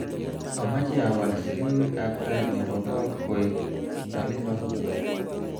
amache awal selewek ab tai nebo kot koek talelot